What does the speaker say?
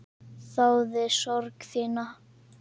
Þáði sorg þína.